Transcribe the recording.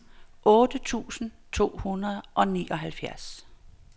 otte tusind to hundrede og nioghalvfjerds